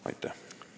Aitäh!